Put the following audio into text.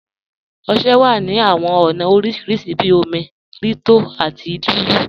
Ọṣẹ wà ní awọn ọna oríṣiríṣì bí òmi, rí tó àti lulú.